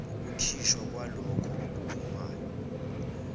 ukukhishwa kwalokho okuphumayo